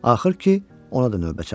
Axır ki, ona da növbə çatdı.